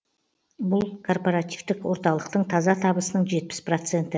бұл корпоративтік орталықтың таза табысының жетпіс проценті